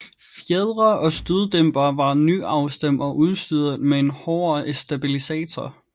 Fjedre og støddæmpere var nyafstemt og udstyret med en hårdere stabilisator